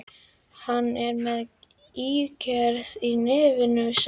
Hann er með ígerð í nefinu, sagði ég.